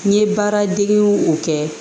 N ye baaradegew o kɛ